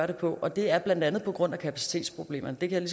det på og det er blandt andet på grund af kapacitetsproblemerne det kan